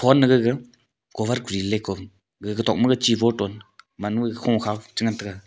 gaga cover kori le gaga tok ma chi bottle man noise kho khaw che ngan taiga.